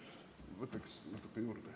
Võtaksin paar minutit aega juurde.